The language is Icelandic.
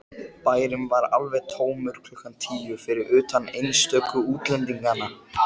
Bærinn var alveg tómur klukkan tíu, fyrir utan einstöku útlendinga.